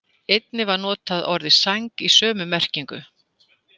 Einnig var notað orðið sæng í sömu merkingu.